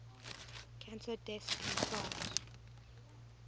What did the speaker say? cancer deaths in france